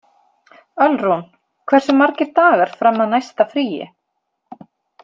Ölrún, hversu margir dagar fram að næsta fríi?